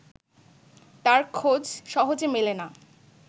তার খোঁজ সহজে মেলে না